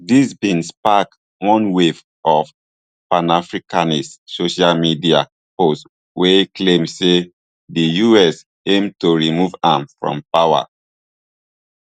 dis bin spark one wave of panafricanist social media posts wey claim say di us aim to remove am from power